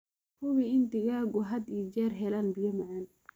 Hubi in digaaggu had iyo jeer helaan biyo macaan.